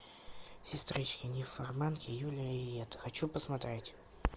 сестрички нимфоманки юлия и йетта хочу посмотреть